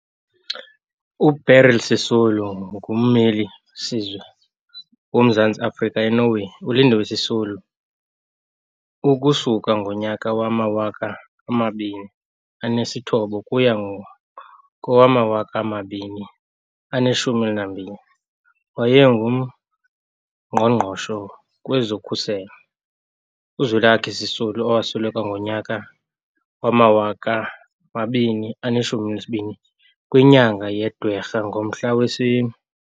uBeryl Sisulu ngummeli-siwe woMzantsi Afrika eNorway, uLindiwe Sisulu ukusuka ngonyaka wama-2009 ukuya kowama-2012 wayengu mgqongqoshe kwezokhuselo, uZwelakhe Sisulu, owasweleka ngonyaka wama-2012 kwinyanga yeDwarha ngomhla wesine.